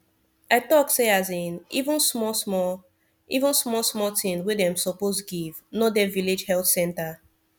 i talk say asin even small small even small small thing wey dem suppose give no dey village health center